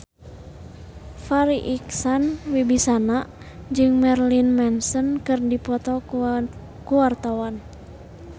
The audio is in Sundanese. Farri Icksan Wibisana jeung Marilyn Manson keur dipoto ku wartawan